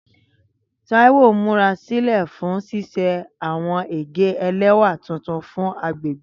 Taiwo n murasilẹ fun ṣiṣe awọn ege ẹlẹwa tuntun fun agbegbe.